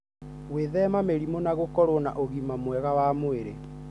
Gwĩthema mĩrimũ na gũkorwo na ũgima mwega wa mwĩrĩ